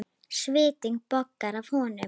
Svitinn bogar af honum.